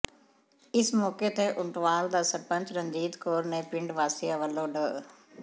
ਇਸ ਮੌਕੇ ਤੇ ਉਂਟਵਾਲ ਦੀ ਸਰਪੰਚ ਰਣਜੀਤ ਕੌਰ ਨੇ ਪਿੰਡ ਵਾਸੀਆਂ ਵਲੋਂ ਡਾ